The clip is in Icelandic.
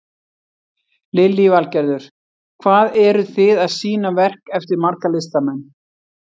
Lillý Valgerður: Hvað eru þið að sýna verk eftir marga listamenn?